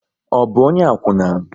Ọ bụ ọnye akwuna?